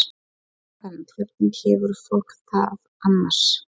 Sunna Karen: Hvernig hefur fólk það annars?